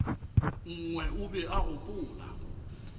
nngwe o be a gopola